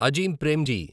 Azim Premji